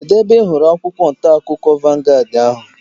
Kedụ ebe ị hụrụ akwụkwọ ntaakụkọ vangaad ahu?